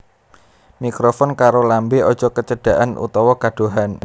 Mikrofon karo lambé aja kecedaken utawa kadohan